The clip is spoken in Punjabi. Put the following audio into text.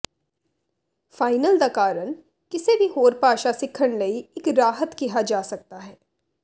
ਫਾਈਨਲ ਦਾ ਕਾਰਨ ਕਿਸੇ ਵੀ ਹੋਰ ਭਾਸ਼ਾ ਸਿੱਖਣ ਲਈ ਇੱਕ ਰਾਹਤ ਕਿਹਾ ਜਾ ਸਕਦਾ ਹੈ